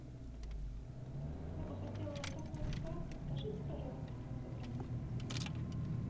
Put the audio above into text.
я бы хотела отдохнуть в спа подскажите пожалуйста как забронировать